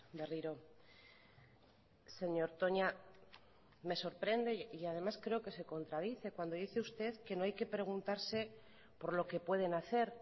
berriro señor toña me sorprende y además creo que se contradice cuando dice usted que no hay que preguntarse por lo que pueden hacer